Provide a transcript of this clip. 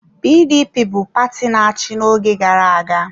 PDP bụ paati na-achị n'oge gara aga.